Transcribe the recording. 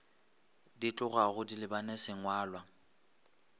di tlogago di lebane sengwalwa